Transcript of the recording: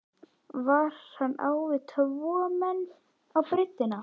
Var hann á við tvo menn á breiddina?